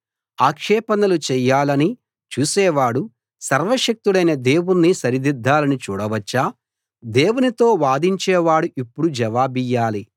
ఆక్షేపణలు చేయాలని చూసేవాడు సర్వశక్తుడైన దేవుణ్ణి సరిదిద్దాలని చూడవచ్చా దేవునితో వాదించేవాడు ఇప్పుడు జవాబియ్యాలి